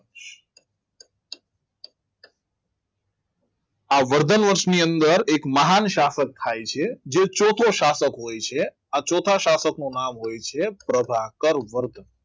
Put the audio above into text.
આ વર્ધન વંશની અંદર એક મહાન સ્થાપક થાય છે જે ચોથો સ્થાપક હોય છે આ ચોથા સ્થાપકનું નામ હોય છે પ્રભાકર વર્ધન